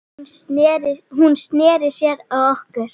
Hún sneri sér að okkur